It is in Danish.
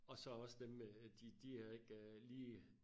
Og så også dem med øh de de har ikke lige